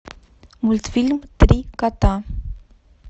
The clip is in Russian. мультфильм три кота